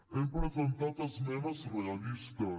hem presentat esmenes realistes